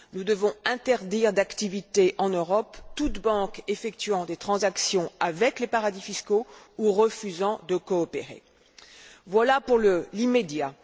Nous devons interdire d'activité en Europe toute banque effectuant des transactions avec les paradis fiscaux ou refusant de coopérer. Voilà pour l'immédiat.